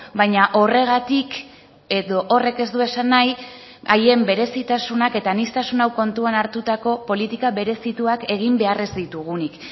baina horregatik edo horrek ez du esan nahi haien berezitasunak eta aniztasun hau kontuan hartutako politika berezituak egin behar ez ditugunik